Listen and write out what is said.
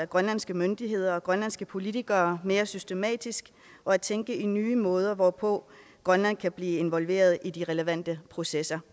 grønlandske myndigheder og de grønlandske politikere mere systematisk og at tænke i nye måder hvorpå grønland kan blive involveret i de relevante processer